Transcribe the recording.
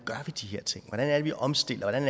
er det at vi omstiller den